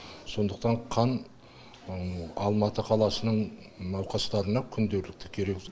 сондықтан қан алматы қаласының науқастарына күнделікті керек